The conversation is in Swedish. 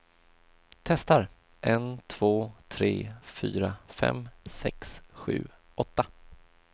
Testar en två tre fyra fem sex sju åtta.